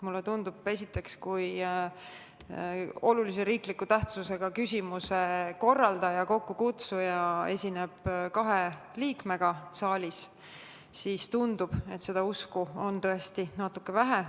Esiteks, kui olulise riikliku tähtsusega küsimuse arutelu kokkukutsuja on esindatud kahe liikmega saalis, siis tundub, et seda usku on tõesti natuke vähe.